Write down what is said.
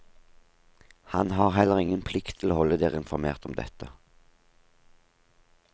Han har heller ingen plikt til å holde dere informert om dette.